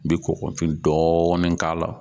N bi kɔkɔfin dɔɔnin k'a la